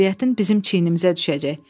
Əziyyətin bizim çiynimizə düşəcək.